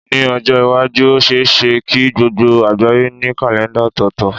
Ní ọjọ́ iwájú, ó ṣe é ṣe kí gbogbo àgbáyé ní kàlèńdà ọ̀tọ̀ọ̀tọ̀.